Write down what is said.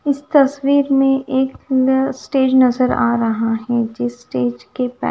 इस तस्वीर मे एक न स्टेज नज़र आ रहा है जिस स्टेज के पास--